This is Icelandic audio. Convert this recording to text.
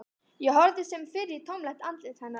Ég horfði sem fyrr í tómlegt andlit hennar.